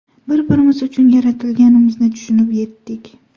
Bir-birimiz uchun yaratilganimizni tushunib yetdik.